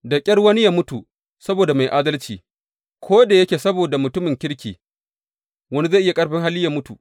Da ƙyar wani yă mutu saboda mai adalci, ko da yake saboda mutumin kirki wani zai iya ƙarfin hali yă mutu.